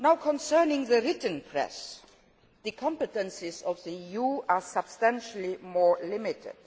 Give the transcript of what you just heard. Concerning the written press, the competences of the EU are substantially more limited.